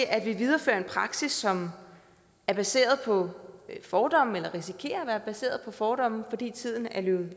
at vi viderefører en praksis som er baseret på fordomme eller risikerer at være baseret på fordomme fordi tiden er løbet